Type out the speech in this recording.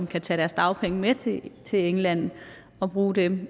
kan tage deres dagpenge med til til england og bruge dem